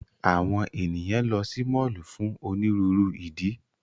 Awọn eniyan lọ si mọllu fun oniruuru idi.